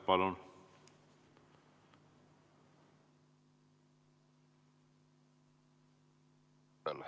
Palun!